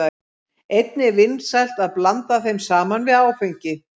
Einnig er vinsælt að blanda þeim saman við áfengi.